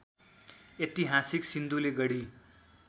ऐतिहासिक सिन्धुलीगढी